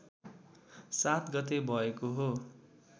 ७ गते भएको हो